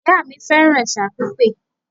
Ìyá mi fẹ́ràn ẹ̀sà pípé